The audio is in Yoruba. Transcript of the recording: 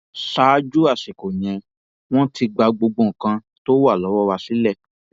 ṣáájú àsìkò yẹn wọn ti gba gbogbo nǹkan tó wà lọwọ wa sílẹ